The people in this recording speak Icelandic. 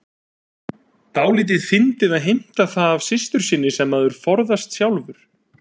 Dálítið fyndið að heimta það af systur sinni sem maður forðast sjálfur.